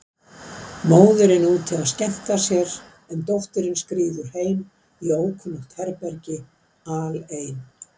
Móðirin úti að skemmta sér, en dóttirin skríður heim í ókunnugt herbergi, alein.